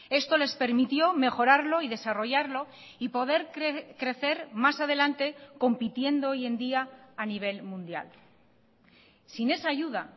esto les permitió mejorarlo y desarrollarlo y poder crecer más adelante compitiendo hoy en día a nivel mundial sin esa ayuda